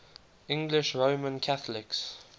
english roman catholics